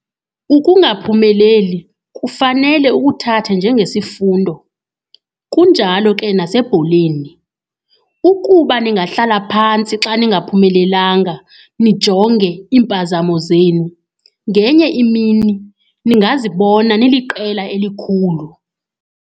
Ukungaphumeleli kufanele ukuthathe njengesifundo, kunjalo ke nasebholeni. Ukuba ningahlala phantsi xa ningaphumelelanga, nijonge iimpazamo zenu ngenye imini ningazibona niliqela elikhulu.